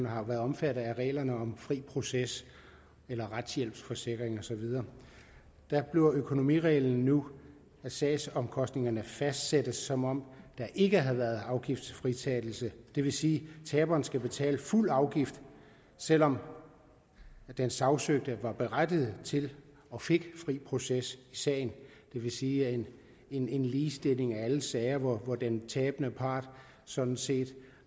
har været omfattet af reglerne om fri proces eller retshjælpsforsikring og så videre der bliver økonomireglen nu at sagsomkostningerne fastsættes som om der ikke havde været afgiftsfritagelse det vil sige at taberen skal betale fuld afgift selv om den sagsøgte var berettiget til og fik fri proces i sagen det vil sige en en ligestilling af alle sager hvor den tabende part sådan set